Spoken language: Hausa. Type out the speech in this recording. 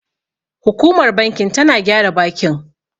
Hukumar bankin tana gyara bakin.